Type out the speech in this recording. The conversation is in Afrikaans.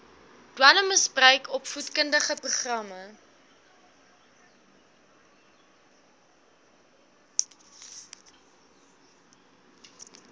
dwelmmisbruik opvoedkundige programme